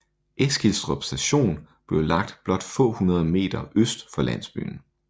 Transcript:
Eskilstrup station blev lagt blot få hundrede meter øst for landsbyen